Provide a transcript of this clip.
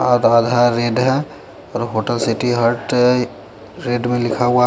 और hotel city heart red में लिखा हुआ--